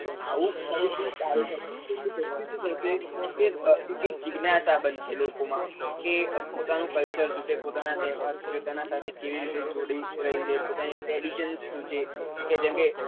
તો આવું તો એક જીજ્ઞાશા બનશે લોકો માં કે પોતાનું culture શું છે પોતાના તહેવાર શું છે તેના સાથે જોડાઈ રહ્યી પોતાના tradition શું છે